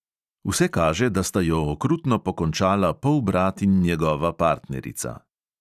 Vse kaže, da sta jo okrutno pokončala polbrat in njegova partnerica.